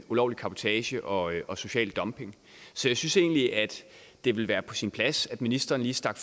ulovlig cabotage og og social dumping så jeg synes egentlig at det ville være på sin plads at ministeren lige stak